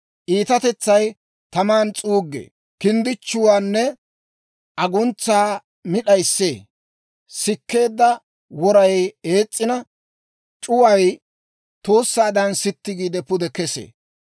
Iitatetsay tamaadan s'uuggee; kinddichchuwaanne aguntsaa mi d'ayissee; sikkeedda woray ees's'ina, c'uway tuussaadan sitti giide, pude kesee.